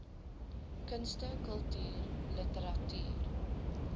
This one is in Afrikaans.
kunste kultuur literatuur